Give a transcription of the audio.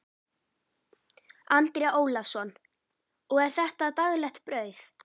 Andri Ólafsson: Og er þetta daglegt brauð?